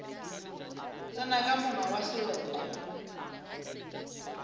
tsena ka monga wa seloko